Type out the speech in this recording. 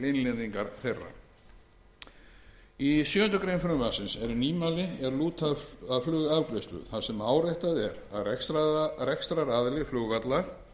innleiðingar þeirra í sjö greinar frumvarpsins eru nýmæli er lúta að flugafgreiðslu þar sem áréttað er að rekstraraðili flugvallar